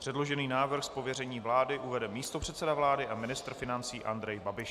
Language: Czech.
Předložený návrh z pověření vlády uvede místopředseda vlády a ministr financí Andrej Babiš.